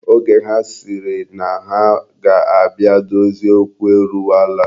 Oge ha sịrị na ha ga-abịa dozie okwu eruwala.